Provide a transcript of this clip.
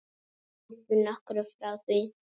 Við sluppum nokkuð frá því.